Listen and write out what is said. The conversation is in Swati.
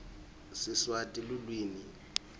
siswati lulwimi